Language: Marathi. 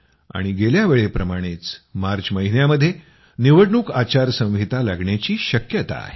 आणि गेल्यावेळेप्रमाणेच मार्च महिन्यामध्ये निवडणूक आचार संहिता लागण्याची शक्यता आहे